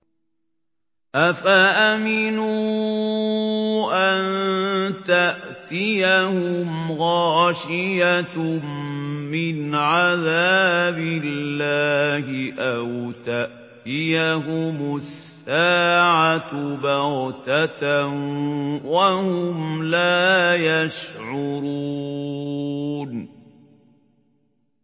أَفَأَمِنُوا أَن تَأْتِيَهُمْ غَاشِيَةٌ مِّنْ عَذَابِ اللَّهِ أَوْ تَأْتِيَهُمُ السَّاعَةُ بَغْتَةً وَهُمْ لَا يَشْعُرُونَ